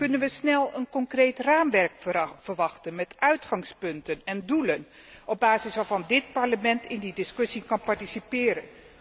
Kunnen we snel een concreet raamwerk verwachten met uitgangspunten en doelen op basis waarvan dit Parlement in die discussie kan participeren?